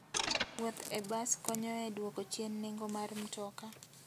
Wuoth e bas konyo e dwoko chien nengo mar mtoka.